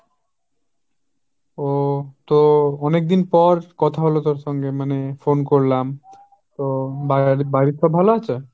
ওহ তো অনেকদিন পর কথা হল তোর সঙ্গে মানে phone করলাম, তো বা~ বাড়ির সব ভাল আছে?